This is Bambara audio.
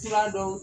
Fura dɔn